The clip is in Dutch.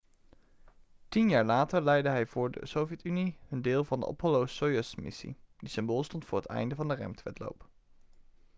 tien jaar later leidde hij voor de sovjet-unie hun deel van de apollo-soyuz-missie die symbool stond voor het einde van de ruimtewedloop